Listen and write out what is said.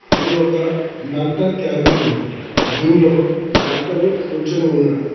ఇది ఒక doctor cabin room దీనిలో డాక్టరు కూర్చుని ఉన్నాడు.